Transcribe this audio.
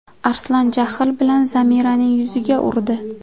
Arslon jahl bilan Zamiraning yuziga urdi.